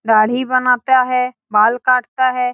दाढ़ी बनाता है बाल काटता है।